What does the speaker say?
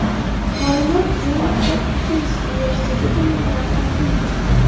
Ma’lumot Jon Hopkins universiteti tomonidan taqdim etildi.